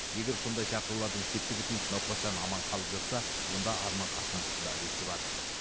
егер сондай шақырулардың септігі тиіп науқас жаны аман қалып жатса онда арман қасымовтың да үлесі бар